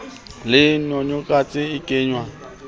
le yogathe e ka nwewa